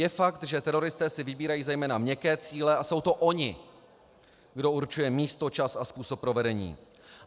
Je fakt, že teroristé si vybírají zejména měkké cíle a jsou to oni, kdo určuje místo, čas a způsob provedení.